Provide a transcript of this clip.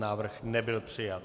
Návrh nebyl přijat.